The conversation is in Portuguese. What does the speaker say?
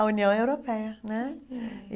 A União Europeia, né? É